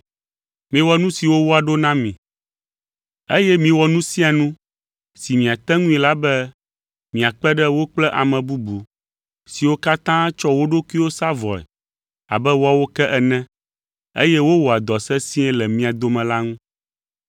Miwɔ nu siwo woaɖo na mi, eye miwɔ nu sia nu si miate ŋui la be miakpe ɖe wo kple ame bubu siwo katã tsɔ wo ɖokuiwo sa vɔe abe woawo ke ene, eye wowɔa dɔ sesĩe le mia dome la ŋu.